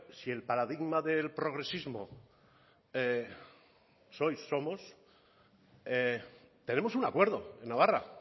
si el paradigma del progresismo sois somos tenemos un acuerdo en navarra